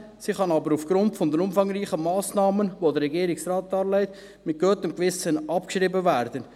Diese kann aber, aufgrund der umfangreichen Massnahmen, die der Regierungsrat darlegt, mit gutem Gewissen abgeschrieben werden.